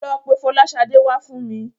Lọ pe Fọláṣadé wá fún mi.